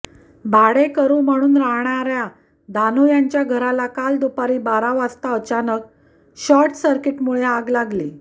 भाडेकरु म्हणून राहणार्या धानू यांच्या घराला काल दुपारी बारा वाजता अचानक शॉर्कसर्किटमुळे आग लागली